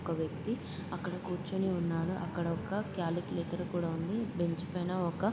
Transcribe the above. ఒక వ్యక్తి అక్కడ కూర్చొని ఉన్నాడు. అక్కడొక కాలక్లేటర్ కూడా ఉంది. బెంచ్ పైన ఒక--